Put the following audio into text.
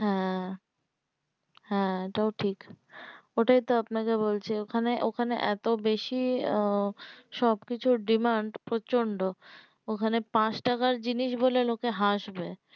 হ্যাঁ হ্যাঁ এটাও ঠিক ও টাই তো আপনাকে বলছি ওখানে ওখানে এতো বেশি সব কিছু demand প্রচন্ড ওখানে পাঁচ টাকা জিনিস বললে লোকে হাঁসবে